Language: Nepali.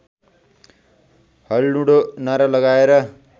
हल्लुडो नारा लगाएर